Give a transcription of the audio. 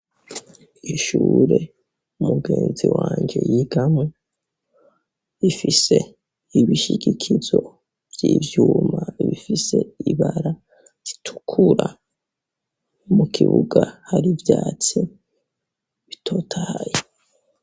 Ishure umugenzi wanje y'igamwe ifise ibishigikizo vy'ivyuma bifise ibara zitukura o mu kibuga hari vyase bitotahaye.